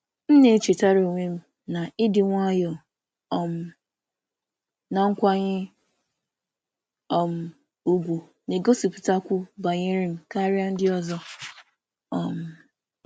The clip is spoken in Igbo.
M na-echetara onwe m na ịdị nwayọọ um na nkwanye um ùgwù na-egosipụtakwu banyere m karịa ndị ọzọ. um